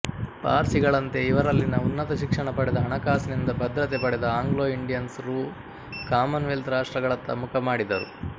ಪಾರ್ಸಿಗಳಂತೆ ಇವರಲ್ಲಿನ ಉನ್ನತ ಶಿಕ್ಷಣ ಪಡೆದ ಹಣಕಾಸಿನಿಂದ ಭದ್ರತೆ ಪಡೆದ ಆಂಗ್ಲೊಇಂಡಿಯನ್ಸ್ ರು ಕಾಮನ್ ವೆಲ್ತ್ ರಾಷ್ಟ್ರಗಳತ್ತ ಮುಖ ಮಾಡಿದರು